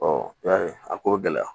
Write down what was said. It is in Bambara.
i y'a ye a ko bɛ gɛlɛya